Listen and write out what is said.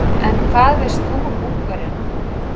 En hvað veist þú um Ungverjana?